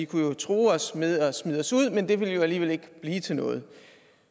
kunne true med at smide os ud men det ville jo alligevel ikke blive til noget